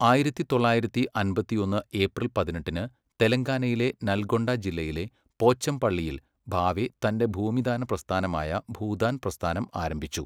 ആയിരത്തി തൊള്ളായിരത്തി അമ്പത്തിയൊന്ന് ഏപ്രിൽ പതിനെട്ടിന് തെലങ്കാനയിലെ നൽഗൊണ്ട ജില്ലയിലെ പോച്ചംപള്ളിയിൽ ഭാവെ തൻ്റെ ഭൂമിദാന പ്രസ്ഥാനമായ ഭൂദാൻ പ്രസ്ഥാനം ആരംഭിച്ചു.